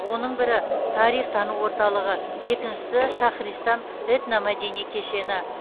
оның бірі тарих тану орталығы екіншісі шахристан этномәдени кешені